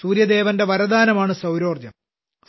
സൂര്യദേവന്റെ വരദാനമാണ് സൌരോർജ്ജം